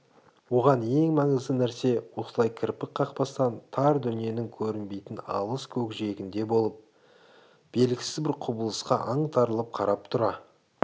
оған ең маңызды нәрсе осылай кірпік қақпастан тар дүниенің көрінбейтін алыс көкжиегінде болып жатқан белгісіз бір құбылысқа аңтарылып қарап тұра